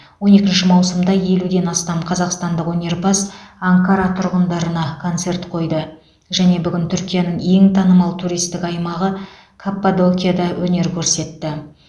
он екінші маусымда елуден астам қазақстандық өнерпаз анкара тұрғындарына концерт қойды және бүгін түркияның ең танымал туристік аймағы каппадокияда өнер көрсетті